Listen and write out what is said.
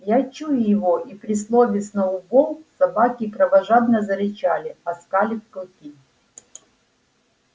я чую его и при слове сноуболл собаки кровожадно зарычали оскалив клыки